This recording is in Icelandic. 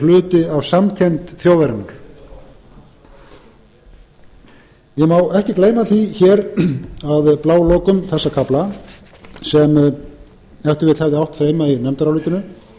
hluti af samkennd þjóðarinnar ég má ekki gleyma því hér að blálokum þessa kafla sem ef til vill hefði átt heima í nefndarálitinu